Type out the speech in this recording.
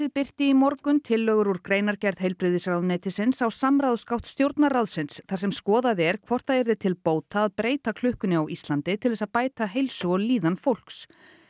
birti í morgun tillögur úr greinargerð heilbrigðisráðuneytisins á samráðsgátt Stjórnarráðsins þar sem skoðað er hvort það yrði til bóta að breyta klukkunni á Íslandi til að bæta heilsu og líðan fólks